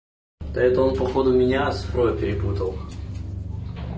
да это он походу меня с про перепутал